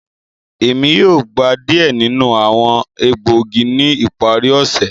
Emi yoo gba diẹ ninu awọn egboogi ni ipari ose.